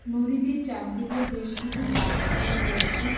নদীটির চারদিকে বেশ কিছু গাছপালা রয়েছে।